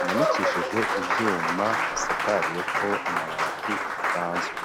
imanikishije ivyuma bisakariyeko amabati asanzwe.